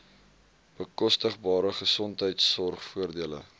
bekostigbare gesondheidsorg voordele